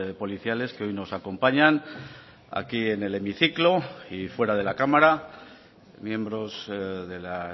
policiales que hoy nos acompañan aquí en el hemiciclo y fuera de la cámara miembros de la